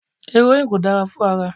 Erońnìì kò dára fún ara.